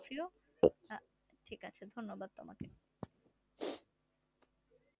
ফিরো ঠিক আছে ধান্যবাদ তমাকে